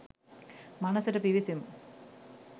මනසට පිවිසෙමු